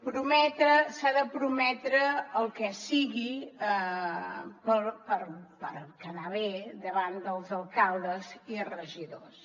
prometre s’ha de prometre el que sigui per quedar bé davant dels alcaldes i regidors